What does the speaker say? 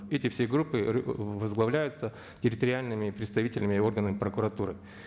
эти все группы возглавляются территориальными представителями органами прокуратуры